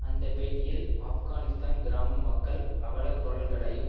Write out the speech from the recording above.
அந்த பேட்டியில் ஆப்கானிஸ்தான் கிராம மக்கள் அவலக்குரல்களையும்